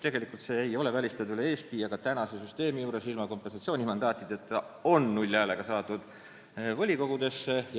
Tegelikult see ei ole välistatud mujalgi Eestis, praeguse süsteemi juures on ilma kompensatsioonimandaatideta null häälega saadud volikoguse.